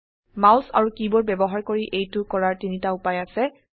mouse আৰু keyboard ব্যবহাৰ কৰি এইটো কৰাৰ তিনটা উপায় আছে